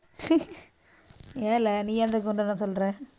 ஏலே, நீ அந்த குண்டன சொல்ற?